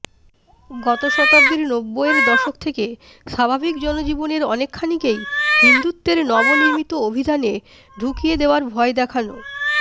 গত শতাব্দীর নব্বইয়ের দশক থেকে স্বাভাবিক জনজীবনের অনেকখানিকেই হিন্দুত্বের নবনির্মিত অভিধানে ঢুকিয়ে দেওয়ার ভয় দেখানো